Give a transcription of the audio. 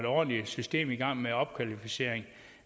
ordentligt system i gang med opkvalificering